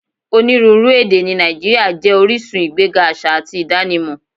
Onírúuru èdè ni Nàìjíríà jẹ oríṣun igbẹ̀ga aṣa àti idànímọ